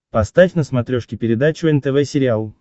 поставь на смотрешке передачу нтв сериал